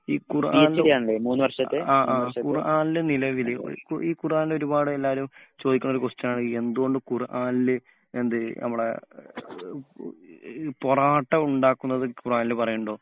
ഈ ഖുർആനിൽ ആ ആ ഖുർആനിൽ നിലവിൽ ഈ ഖുർആനിൽ ഒരുപാട് എല്ലാരും ചോദിക്കുന്ന ഒരു ക്വസ്റ്റ്യൻ ആണ് എന്ത് കൊണ്ട് ഖുർആനിൽ എന്ത് നമ്മളെ പൊറാട്ട ഉണ്ടാക്കുന്നത് ഖുർആനിൽ പറയുന്നുണ്ടോ?